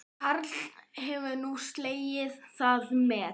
Karl hefur nú slegið það met